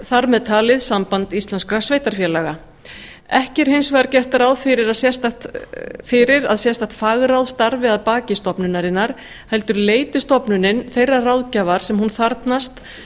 þar með talið samband íslenskra sveitarfélaga ekki er hins vegar gert ráð fyrir að sérstakt fagráð starfi að baki stofnunarinnar heldur leiti stofnunin þeirrar ráðgjafar sem hún þarfnast